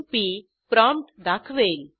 P prompt दाखवेल